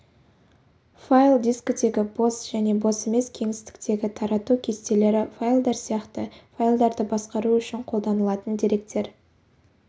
файл дискідегі бос және бос емес кеңістіктегі тарату кестелері файлдар сияқты файлдарды басқару үшін қолданылатын деректер